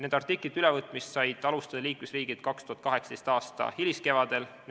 Nende artiklite ülevõtmist said liikmesriigid alustada 2018. aasta hiliskevadel.